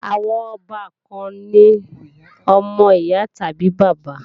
Àwọn ọbàkan ni ọmọ ìyá tàbí bàbá